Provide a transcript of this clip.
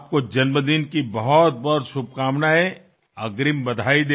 तुम्हाला वाढदिवसानिमित्त अनेक शुभेच्छा द्याव्यात असं मला वाटलं